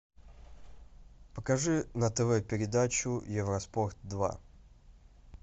покажи на тв передачу евроспорт два